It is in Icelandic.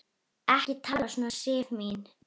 Ekki tala svona, Sif mín!